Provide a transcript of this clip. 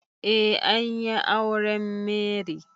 Eh an yi auren Mary.